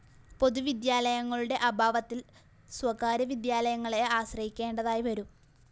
പൊതുവിദ്യാലയങ്ങളുടെ അഭാവത്തില്‍ സ്വകാര്യ വിദ്യാലയങ്ങളെ ആശ്രയിക്കേണ്ടതായി വരും